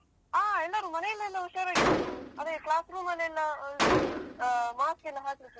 ಹ ಎಲ್ಲರೂ ಮನೆಯಲ್ಲೆಲ್ಲ ಹುಷಾರಾಗಿದ್ರು. ಅದೇ class room ಲೆಲ್ಲಾ ಇದು ಅಹ್ mask ಯೆಲ್ಲಾ ಹಾಕ್ಲಿಕಿತ್ತು.